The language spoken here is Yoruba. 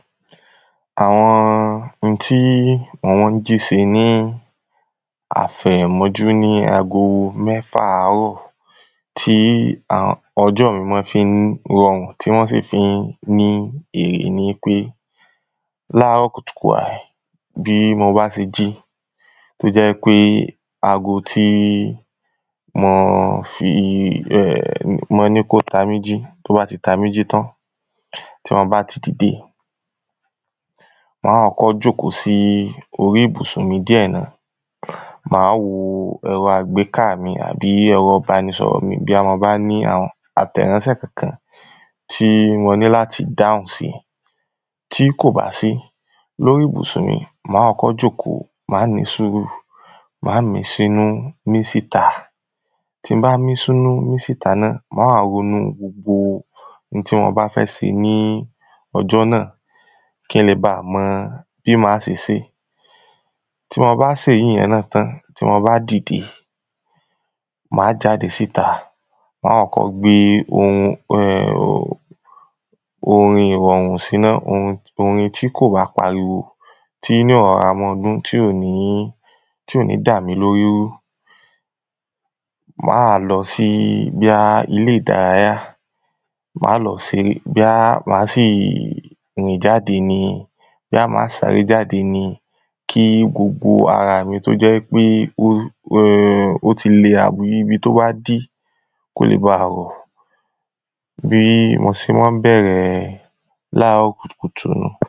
Àwọn ohun tí mò mọ́ ń jí ṣe ní àfẹ̀mọ́júmọ́ ní ago mẹ́ta àárọ̀ tí ọjọ́ mi mọ fí ń rọrùn tí wọ́n sì fí mọ́ ń ní iyì ni wípé láàrọ̀ kùtùkùtù aì bí mo bá ti jí tó jẹ́ wípé ago tí mo fi ẹ̀ mo ní kó ta mí jí tó bá ti ta mí jí tán tí mo bá ti dìde má kọ́kọ́ jóòkó sí orí ibùsũ̀n mi díẹ̀ ná má wo ẹ̀rọ àgbéká mi àbí ẹ̀rọ ìbánisọ̀rọ̀ mi bóyá mo bá ní àwọn àtẹ̀ránsẹ́ kankan tí mo ní láti dáhùn sí. Tí kò bá sí lórí ìbùsùn mi má kọ́kọ́ jóòkó má nísùrúù má mí sínú mí síta tí ń bá mí sínú mí síta ná má wa ronú gbogbo n ti mo bá fẹ́ ṣe ní ọjọ́ náà kí ń le ba mọ bí ma ṣe ṣé. Tí mo bá ṣèyí náà tán tí mo bá dìde má jáde síta má kọ́kọ́ gbé ohun ẹ̀ orin ìrọ̀rùn sí náà orin tí kò bá pariwo tí yó rọra mọ́ dún tí ò ní tí ò ní dà mi lóri rú. Má wá lọ sí bóyá ilé ìdáráyá má lọ se bóyá má sì rìn jáde ni bóyá mà sí sáré jáde ni kí gbogbo ara mi tó jẹ́ pó pé ó ti ti lẹ àwùyí ibi tó wá jí kó bá rọ̀ bí mo sé má ń bẹ̀rẹ̀ láàrọ̀ kùtùkùtù.